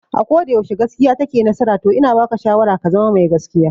A koda yaushe gaskiya take nasara to ina baka shawara ka zama mai gaskiya